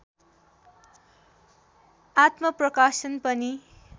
आत्मप्रकाशन पनि